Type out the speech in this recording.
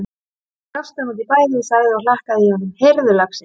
Nú brosti hann út í bæði og sagði og hlakkaði í honum: Heyrðu lagsi!